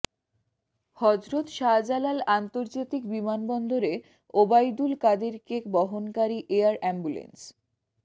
হযরত শাহজালাল আন্তর্জাতিক বিমানবন্দরে ওবায়দুল কাদেরকে বহনকারী এয়ার অ্যাম্বুলেন্স